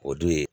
O dun ye